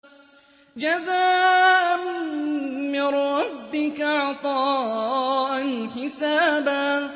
جَزَاءً مِّن رَّبِّكَ عَطَاءً حِسَابًا